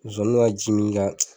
Nsonsann ka jimi ka.